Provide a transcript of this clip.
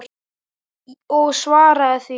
Og svara því.